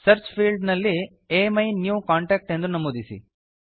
search field ನಲ್ಲಿ ಅಮಿನ್ಯೂಕಾಂಟ್ಯಾಕ್ಟ್ ಎಂದು ನಮೂದಿಸಿ